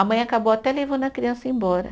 A mãe acabou até levando a criança embora.